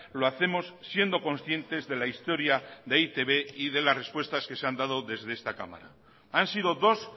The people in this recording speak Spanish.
lo hacemos siendo conscientes de la historia de e i te be y de las respuestas que se han dado desde esta cámara han sido dos